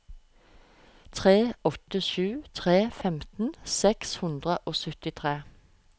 tre åtte sju tre femten seks hundre og syttitre